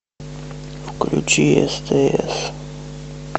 включи стс